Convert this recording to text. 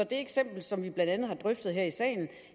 det eksempel som vi blandt andet har drøftet her i salen